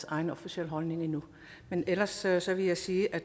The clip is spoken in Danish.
egen officielle holdning endnu ellers ellers vil jeg sige at